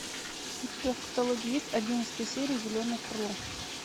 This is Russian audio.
у тебя в каталоге есть одиннадцатая серия зеленое крыло